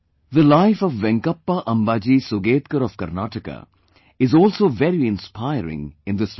The life of Venkappa Ambaji Sugetkar of Karnataka, is also very inspiring in this regard